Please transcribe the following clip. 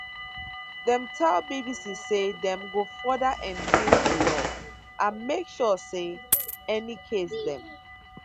dem tell bbc say dem go further enforce di law and make sure say any case dem